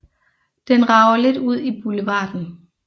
Den rager lidt ud i boulevarden